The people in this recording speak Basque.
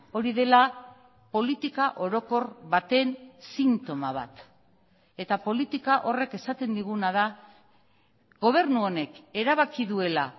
hori dela politika orokor baten sintoma bat eta politika horrek esaten diguna da gobernu honek erabaki duela